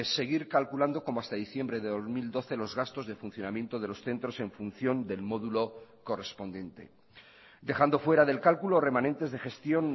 seguir calculando como hasta diciembre de dos mil doce los gastos de funcionamiento de los centros en función del módulo correspondiente dejando fuera del cálculo remanentes de gestión